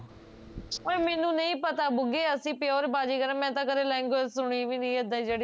ਓਏ ਮੈਨੂੰ ਨਹੀਂ ਪਤਾ ਬੁਂਗੇ ਅਸੀਂ pure ਬਾਜ਼ੀਗਰ ਆ ਮੈਂ ਤਾਂ ਕਦੇ language ਸੁਣੀ ਵੀ ਨੀ ਏਦਾ ਦੀ ਜਿਹੜੀ